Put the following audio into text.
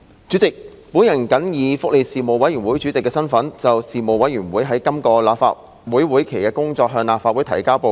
主席，我謹以福利事務委員會主席的身份，就事務委員會在今個立法會會期的工作，向立法會提交報告。